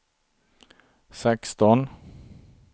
sexton